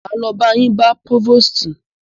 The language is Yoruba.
Máa lo ba yín bá próvòstì.